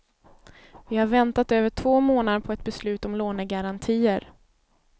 Vi har väntat över två månader på ett beslut om lånegarantier.